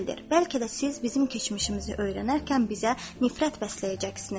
Bəlkə də siz bizim keçmişimizi öyrənərkən bizə nifrət bəsləyəcəksiniz.